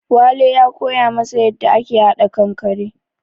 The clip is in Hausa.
Wale ya koya masa yanda ake haɗa kankare